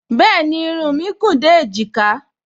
Bẹ́ẹ̀ni, irun mí gùn dé èjìká